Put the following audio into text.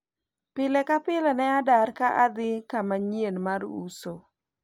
pile ka pile ne adar ka adhi kama nyien mar uso